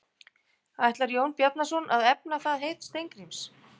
Ætlar Jón Bjarnason að efna það heit Steingríms?